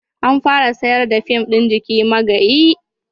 An fara sayar da fim ɗin "Jiki Magayi"